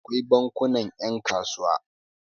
akwai bankuna yankasuwa